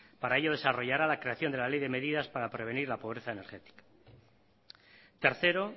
para ello desarrollará la creación de la ley de medidas para prevenir la pobreza energética tercero